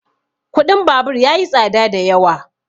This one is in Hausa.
kuɗin babur ya yi tsada da yawa